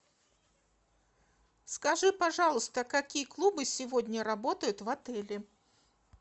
скажи пожалуйста какие клубы сегодня работают в отеле